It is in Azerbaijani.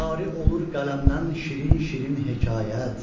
Cari olur qələmdən şirin-şirin hekayət.